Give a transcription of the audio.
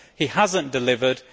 He has not delivered.